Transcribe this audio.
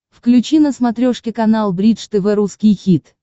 включи на смотрешке канал бридж тв русский хит